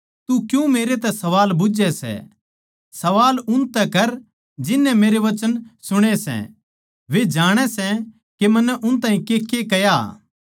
तू मन्नै क्यातै सवाल बुझ्झै सै सवाल उनतै कर जिननै मेरे वचन सुणे सै वे जाणे सै के मन्नै उन ताहीं केके कह्या